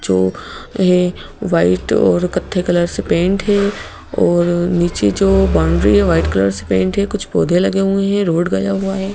जो है वाइट और कत्थे कलर से पेंट हैऔर नीचे जो बाउंड्री है वाइट कलर से पेंट हैकुछ पौधे लगे हुए हैं रोड गया हुआ है।